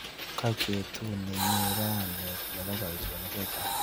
Kaek betuni nyu rani nebo boishonik chechang.